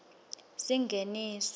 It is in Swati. singeniso